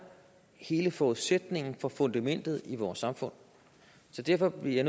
hele forudsætningen for fundamentet i vores samfund så derfor bliver